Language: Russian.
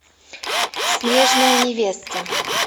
снежная невеста